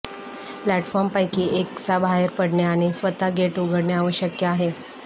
प्लॅटफॉर्मपैकी एकास बाहेर पडणे आणि स्वतः गेट उघडणे आवश्यक आहे